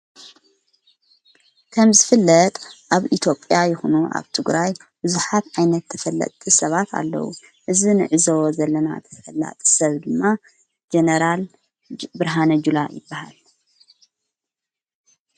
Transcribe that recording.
ከም ዝ ፍለጥ ኣብ ኢቲዬጴያ ይሁኑ ኣብ ትግራይ ብዙኃት ኣይነት ተፈለጥ ሰባት ኣለዉ እዝ ንዕዘወ ዘለና ተፈላጥ ሰብ ድማ ጀነራል ብርሃነ ጅላ ይበሃል።